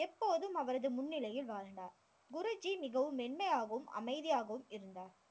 எப்போதும் அவரது முன்னிலையில் வாழ்ந்தார். குருஜி மிகவும் மென்மையாகவும், அமைதியாகவும் இருந்தார்.